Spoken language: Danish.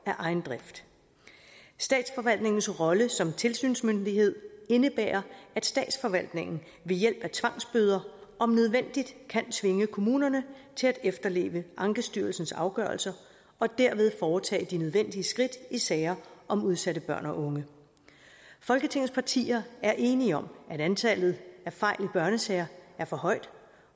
af egen drift statsforvaltningens rolle som tilsynsmyndighed indebærer at statsforvaltningen ved hjælp af tvangsbøder om nødvendigt kan tvinge kommunerne til at efterleve ankestyrelsens afgørelser og derved foretage de nødvendige skridt i sager om udsatte børn og unge folketingets partier er enige om at antallet af fejl i børnesager er for højt